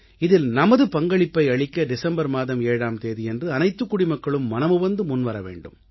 இதில் நமது பங்களிப்பை அளிக்க டிசம்பர் மாதம் 7ஆம் தேதியன்று அனைத்துக் குடிமக்களும் மனமுவந்து முன்வர வேண்டும்